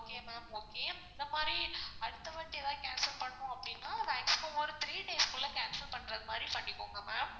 okay ma'am okay இந்த மாரி அடுத்தவாட்டி ஏதாவது cancel பண்ணனும் அப்படினா maximum ஒரு three days க்குள்ள cancel பண்றமாதிரி பண்ணிக்கோங்க ma'am.